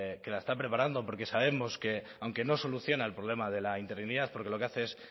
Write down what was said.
que la está preparando porque sabemos que aunque no soluciona el problema de la interinidad porque lo que hace es